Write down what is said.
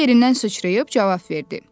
Noxud yerindən sıçrayıb cavab verdi.